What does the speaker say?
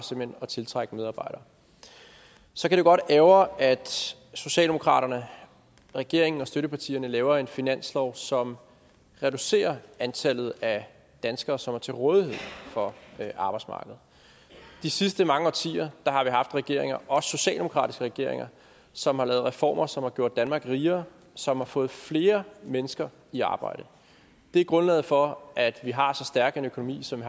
at tiltrække medarbejdere så kan det godt ærgre at socialdemokraterne regeringen og støttepartierne laver en finanslov som reducerer antallet af danskere som er til rådighed for arbejdsmarkedet de sidste mange årtier har vi haft regeringer også socialdemokratiske regeringer som har lavet reformer som har gjort danmark rigere som har fået flere mennesker i arbejde det er grundlaget for at vi har så stærk en økonomi som